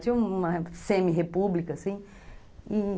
Tinha uma semi-república, assim e